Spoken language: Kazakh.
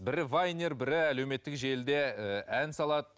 бірі вайнер бірі әлеуметтік желіде ііі ән салады